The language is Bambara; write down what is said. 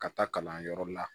Ka taa kalanyɔrɔ la